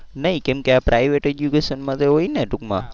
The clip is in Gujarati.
નહીં કેમ કે આ private education માં તો હોય ને ટુંકમાં.